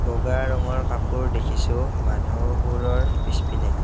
বগা ৰঙৰ কাপোৰ দেখিছোঁ মানুহ বোৰৰ পিছপিনে।